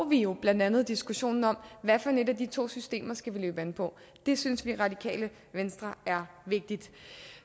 vi jo blandt andet diskussionen om hvad for et af de to systemer vi skal løbe an på det synes vi i radikale venstre er vigtigt